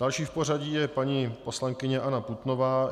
Další v pořadí je paní poslankyně Anna Putnová.